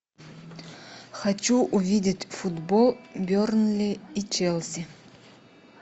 хочу увидеть футбол бернли и челси